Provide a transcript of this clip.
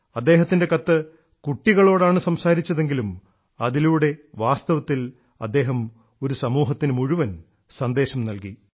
അദ്ദേഹത്തിൻറെ കത്ത് കുട്ടികളോടാണ് സംസാരിച്ചതെങ്കിലും അതിലൂടെ വാസ്തവത്തിൽ അദ്ദേഹം ഒരു സമൂഹത്തിനു മുഴുവൻ സന്ദേശം നൽകി